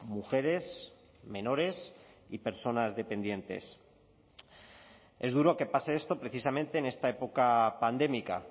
mujeres menores y personas dependientes es duro que pase esto precisamente en esta época pandémica